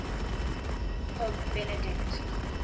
pope benedict